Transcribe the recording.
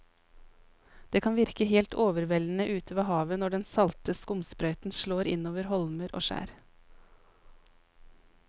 Det kan virke helt overveldende ute ved havet når den salte skumsprøyten slår innover holmer og skjær.